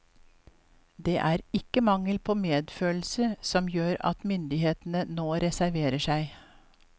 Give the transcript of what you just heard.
Det er ikke mangel på medfølelse som gjør at menighetene nå reserverer seg.